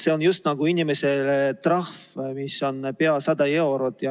See on inimesele just nagu trahv, mis on pea 100 eurot.